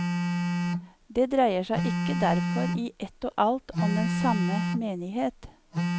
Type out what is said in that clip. Det dreier seg ikke derfor i ett og alt om den samme menighet.